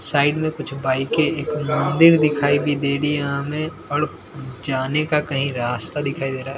Side में कुछ बाईके दिर दिखाई भी दे रही हैं हमें और जाने का कही रास्ता दिखाई दे रहा है।